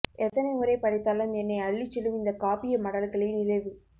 எத்தனை முறை படித்தாலும் என்னை அள்ளிச் செல்லும் இந்த காப்பிய மடல்களை நிறைவு